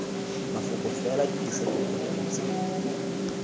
mafoko fela dirisa dipolelo tse